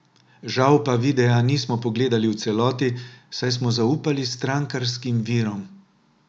Žal pa videa nismo pogledali v celoti, saj smo zaupali strankarskim virom.